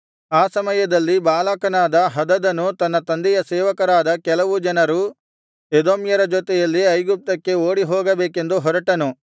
ಆ ಸಮಯದಲ್ಲಿ ಬಾಲಕನಾದ ಹದದನು ತನ್ನ ತಂದೆಯ ಸೇವಕರಾದ ಕೆಲವು ಜನರು ಎದೋಮ್ಯರ ಜೊತೆಯಲ್ಲಿ ಐಗುಪ್ತಕ್ಕೆ ಓಡಿಹೋಗಬೇಕೆಂದು ಹೊರಟನು